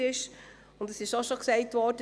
Es wurde auch bereits erwähnt: